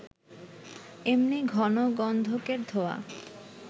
এমনি ঘন গন্ধকের ধোঁয়া